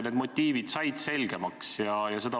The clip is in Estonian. Need motiivid said selgemaks.